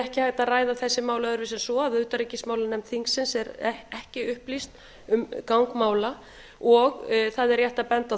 hægt að ræða þessi mál öðruvísi en svo að utanríkismálanefnd þingsins er ekki upplýst um gang mála og það er rétt að benda á